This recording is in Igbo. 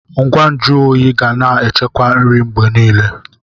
Ngwa nju oyi ga na echekwa nri mgbe niile.